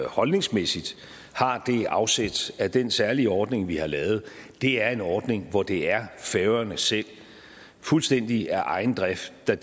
holdningsmæssigt har det afsæt at den særlige ordning vi har lavet er en ordning hvor det er færøerne selv fuldstændig af egen drift der